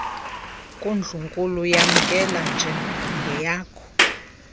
kundlunkulu yamkele njengeyakho